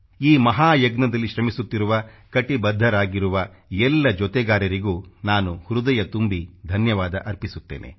ಈ ಮಹಾಯಜ್ಞದಲ್ಲಿ ಶ್ರಮಿಸುತ್ತಿರುವ ಕಟಿಬದ್ಧರಾಗಿರುವ ಎಲ್ಲ ಜೊತೆಗಾರರಿಗೂ ನಾನು ಹೃದಯ ತುಂಬಿ ಧನ್ಯವಾದ ಅರ್ಪಿಸುತ್ತೇನೆ